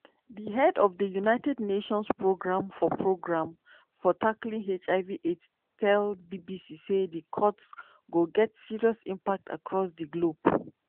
di head of united nations programme for programme for tackling hiv/aids tell bbc say di cuts go get serious impacts across di globe.